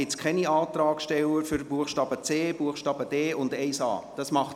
Gibt es keine Antragsteller, die zu den Buchstaben c und d sowie zum Absatz 1a sprechen?